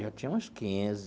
Eu tinha uns quinze.